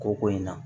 Ko ko in na